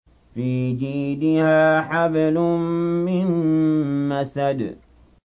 فِي جِيدِهَا حَبْلٌ مِّن مَّسَدٍ